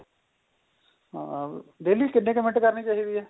ਆ daily ਕਿੰਨੇ ਕ ਮਿੰਟ ਕਰਨੀ ਚਾਹੀਦੀ ਏ